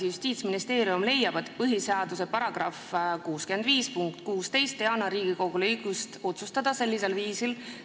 Justiitsministeerium leiab, et põhiseaduse § 65 punkt 16 ei anna Riigikogule õigust otsustada sellisel viisil.